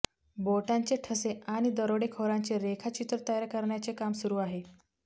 बोटांचे ठसे आणि दरोडेखोरांचे रेखाचित्र तयार करण्याचे काम सुरू आहे